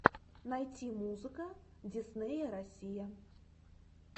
найти музыка диснея россия